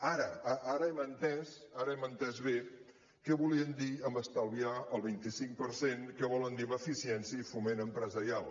ara ara hem entès ara hem entès bé què volien dir amb estalviar el vint cinc per cent què volen dir amb eficiència i foment empresarial